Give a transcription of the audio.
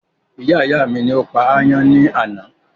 Iyá ìyá mi ni ó pa ayán ní àná